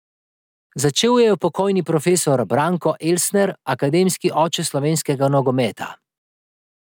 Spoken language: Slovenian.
Začel jo je pokojni profesor Branko Elsner, akademski oče slovenskega nogometa.